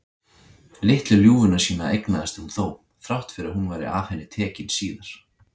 Litlu ljúfuna sína eignaðist hún þó, þrátt fyrir að hún væri af henni tekin síðar.